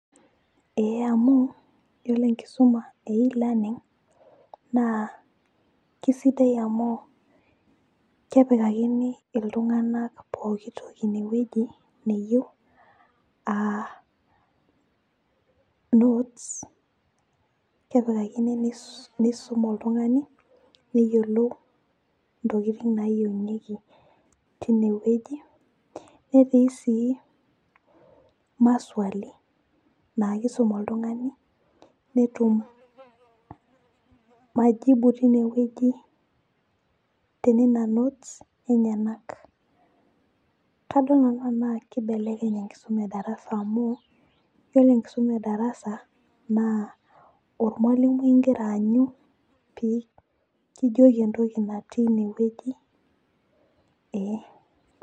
ee amu iyiolo enkisuma e elearning naa kisidai amu kepikakinii, iltunganak pooki toki ine wueji neyieu, aa notes kepikakini, nisum oltungani neyiolou ntokitin naayieunyieki teine wueji. netii sii, maswali naa kisum oltungani, netum majibu teine wueji, tenena notes enyenak. kadol nanu enaa kibelekeny enkisuma edarasa amu, iyiolo enkisuma edarasa naa ormualimui igira aanyu pee kijoki entoki natii ine weuji ee.